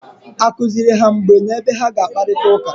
A kụziri ha mgbe na ebe ha ga-akparịta ụka?